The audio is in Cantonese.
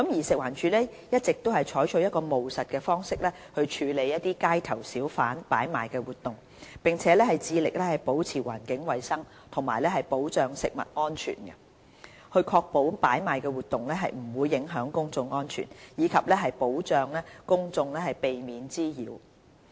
食環署一直採取務實的方式處理街頭小販擺賣活動，並致力保持環境衞生和保障食物安全、確保擺賣活動不會影響公眾安全，以及保障公眾免受滋擾。